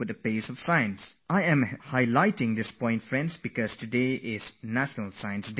I say all this because, friends, today is National Science Day, the festival of science in this country